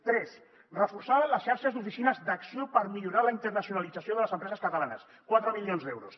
tres reforçar les xarxes d’oficines d’acció per millorar la internacionalització de les empreses catalanes quatre milions d’euros